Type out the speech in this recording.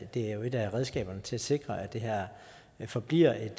det er jo et af redskaberne til at sikre at det her forbliver et